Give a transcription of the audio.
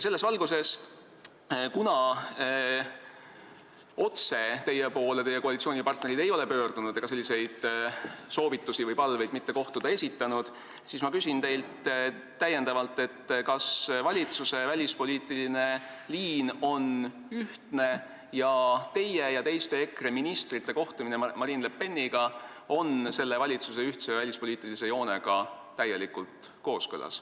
" Selles valguses, kuna teie koalitsioonipartnerid ei ole otse teie poole pöördunud ega esitanud soovitusi või palveid mitte kohtuda, küsin ma teilt, kas valitsuse välispoliitiline liin on ühtne ning teie ja teiste EKRE ministrite kohtumine Marine Le Peniga on selle valitsuse ühtse välispoliitilise joonega täielikult kooskõlas.